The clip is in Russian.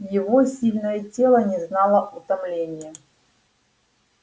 его сильное тело не знало утомления